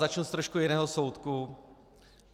Začnu trochu z jiného soudku.